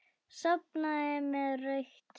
Sofnaði með rautt enni.